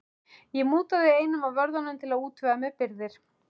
Ég mútaði einum af vörðunum til að útvega mér birgðir.